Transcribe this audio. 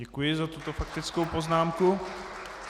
Děkuji za tuto faktickou poznámku.